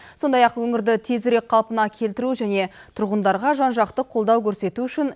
сондай ақ өңірді тезірек қалпына келтіру және тұрғындарға жан жақты қолдау көрсету үшін